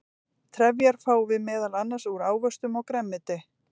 trefjar fáum við meðal annars úr ávöxtum og grænmeti